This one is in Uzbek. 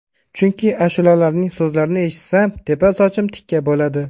Chunki ashulalarining so‘zlarini eshitsam, tepa sochim tikka bo‘ladi.